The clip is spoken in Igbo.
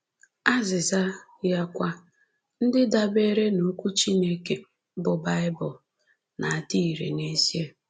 Azịza ya kwa, ndị dabeere n’Okwu Chineke, bụ́ Baịbụl, na-adị irè n’ezie!